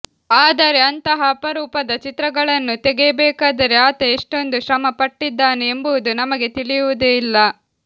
ಆದರೆ ಅಂತಹ ಅಪರೂಪದ ಚಿತ್ರಗಳನ್ನು ತೆಗೆಯಬೇಕಾದರೆ ಆತ ಎಷ್ಟೊಂದು ಶ್ರಮಪಟ್ಟಿದ್ದಾನೆ ಎಂಬುವುದು ನಮಗೆ ತಿಳಿಯುವುದೇ ಇಲ್ಲ